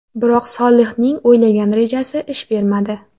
Biroq Solihning o‘ylagan rejasi ish bermadi.